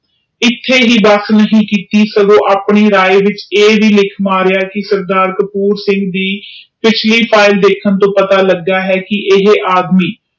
ਇਥੇ ਹੀ ਬਸ ਨੀ ਕੀਤੀ ਸਗੋਂ ਆਪਣੀ ਰਾਯ ਵਿਚ ਇਹ ਵੀ ਲੀਹ ਮਾਰੀਆ ਕਿ ਸਰਦਾਰ ਕਪੂਰ ਸਿੰਘ ਦੇ ਪਿਛਲੀ ਫਾਈਲ ਦੇਖਣ ਤੋਂ ਪਤਾ ਲਗਾ ਆ ਕਿ ਇਹ ਆਦਮੀ